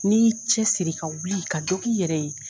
N'i y'i cɛsiri ka wuli ka dɔ K'i yɛrɛ ye